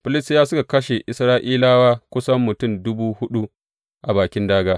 Filistiyawa suka kashe Isra’ilawa kusan mutum dubu huɗu a bakin dāgā.